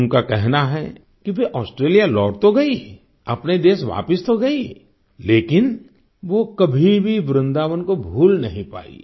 उनका कहना है कि वे ऑस्ट्रेलिया लौट तो गई अपने देश वापिस तो गयी लेकिन वो कभी भी वृन्दावन को भूल नहीं पाईं